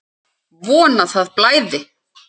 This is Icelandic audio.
Von að það blæði!